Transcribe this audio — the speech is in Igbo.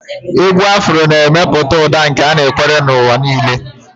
Égwù afro na-emepụta ụda nke anakwere n'ụwa niile.